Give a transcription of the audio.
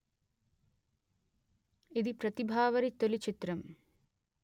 ఇది ప్రతిభావారి తొలి చిత్రం